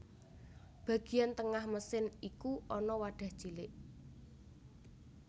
Bagian tengah mesin iku ana wadah cilik